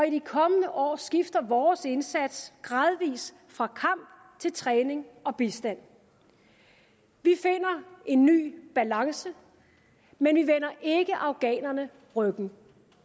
i de kommende år skifter vores indsats gradvis fra kamp til træning og bistand vi finder en ny balance men vi vender ikke afghanerne ryggen den